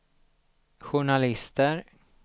journalister